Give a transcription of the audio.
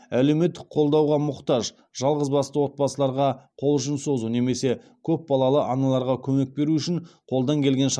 әлеуметтік қолдауға мұқтаж жалғызбасты отбасыларға қол ұшын созу немесе көпбалалы аналарға көмек беру үшін қолдан келген шараларды жасауда